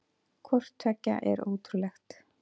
Hvort tveggja er ótrúlegt.